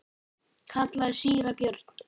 kallaði síra Björn.